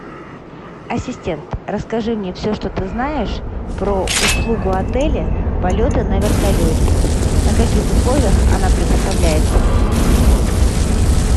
ассистент расскажи мне все что ты знаешь про услугу отеля полеты на вертолете на каких условиях она предоставляется